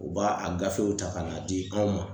O b'a a gafew ta ka n'a di anw ma